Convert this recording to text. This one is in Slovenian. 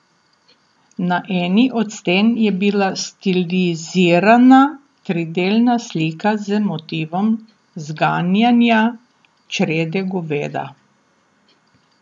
Na eni od sten je bila stilizirana tridelna slika z motivom zganjanja črede goveda.